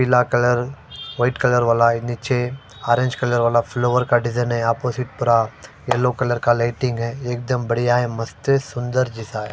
पीला colour white colour वाला है नीचे ऑरेंज कलर वाला फ्लोर का डिजाइन है यहां पर येलो कलर का लाइटिंग है बढ़िया है एकदम मस्त है सुंदर जैसा है ।